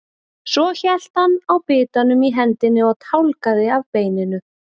Svo hélt hann á bitanum í hendinni og tálgaði af beininu.